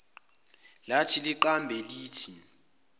lathi liqambe lithi